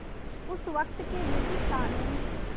उस वक़्त के ब्रिटिश क़ानून